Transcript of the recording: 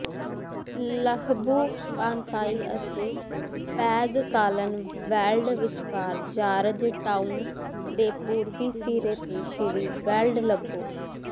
Lebuh Pantai ਅਤੇ Pengkalan Weld ਵਿਚਕਾਰ George Town ਦੇ ਪੂਰਬੀ ਸਿਰੇ ਤੇ ਸ਼੍ਰੀ ਵੇਲਡ ਲੱਭੋ